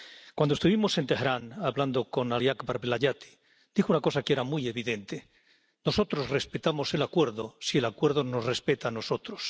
Cuando estuvimos en Teherán hablando con Ali Akbar Velayati, dijo una cosa que era muy evidente Nosotros respetamos el acuerdo si el acuerdo nos respeta a nosotros.